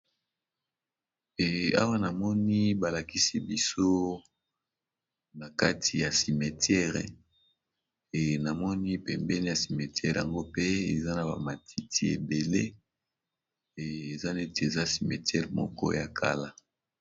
Awa namoni balakisi biso na kati ya cimetere e namoni pembene ya cimetere yango pe eza na bamatiti ebele neti eza cimetiere moko ya kala.